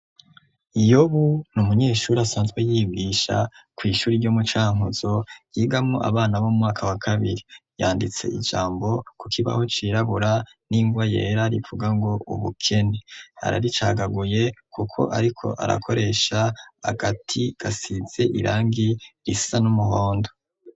Iyobu ni umunyeshuri asantwe yibwisha kw'ishuri ryo mucankuzo yigamo abana bo mwaka wa kabiri yanditse ijambo ku kibaho cirabura n'ingwa yera rivuga ngo ubukene araricagaguye, kuko, ariko arakoresha agati gasize irangi risa n'umuhore anda.